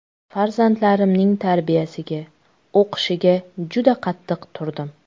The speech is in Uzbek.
Farzandlarimning tarbiyasiga, o‘qishiga juda qattiq turdim.